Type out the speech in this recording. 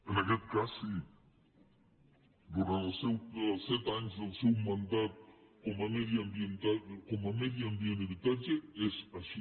en aquest cas sí durant els set anys del seu mandat com a medi ambient i habitatge és així